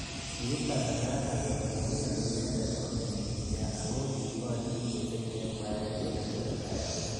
Kiib kasaratak kole maiyoni inendet kome BBI ako kiborye missing eng mwaet kole tesetai akoi.